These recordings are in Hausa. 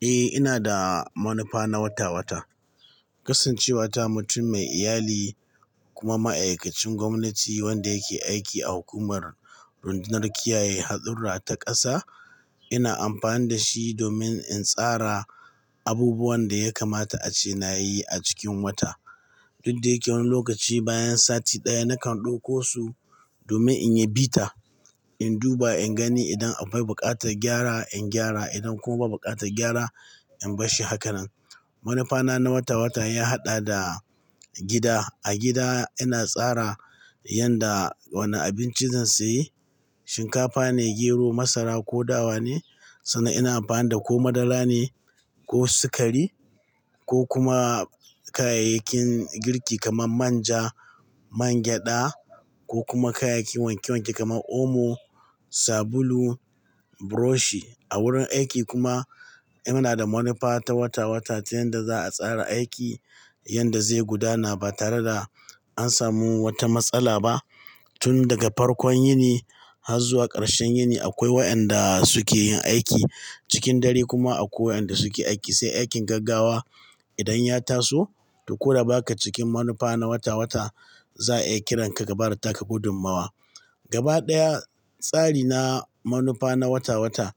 Eh, ina da manufa na wata-wata. Kasancewa ta mutum mai iyali kuma ma'aikacin gwamnati wanda yake aiki a hukumar rundunar kiyaye haɗurra ta ƙasa, ina amfani da shi domin in tsara abubuwan da ya kamata a ce na yi a cikin wata. Duk da yake wani lokaci bayan sati ɗaya nakan ɗauko su domin in yi bita, in duba in gani idan akwai buƙatar gyara, in gyara. Idan kuma ba buƙatar gyara, in bar shi hakanan. Manufa na na wata-wata ya haɗa da gida. A gida ina tsara yanda wane abinci zan sayi, shinkafa ne, gero, masara ko dawa ne. Sannan ina amfani da ko madara ne ko sukari ko kuma kayayyakin girki kamar manja, man gyaɗa ko kuma kayayyakin wanke-wanke kamar omo, sabulu, burushi. A wurin aiki kuma ina da manufa ta wata-wata ta yanda za a tsara aiki, yanda zai gudana ba tare da an samu wata matsala ba. Tun daga farkon yini har zuwa ƙarshen yini akwai wa'anda suke yin aiki. Cikin dare kuma akwai wa'anda suke aiki. Sai aikin gaggawa idan ya taso, to koda ba ka cikin manufa na wata-wata, za a iya kiran ka ka bada taka gudunmuwa. Gaba ɗaya, tsari na manufa na wata-wata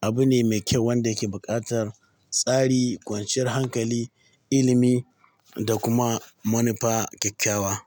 abu ne mai kyau wanda yake buƙatar tsari, kwanciyar hankali, ilimi da kuma manufa kyakkyawa.